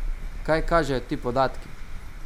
Kaj kažejo ti podatki?